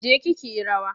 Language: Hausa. Je ki ki yi rawa!